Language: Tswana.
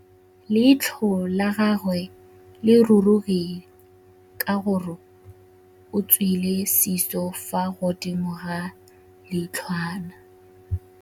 Leitlhô la gagwe le rurugile ka gore o tswile sisô fa godimo ga leitlhwana.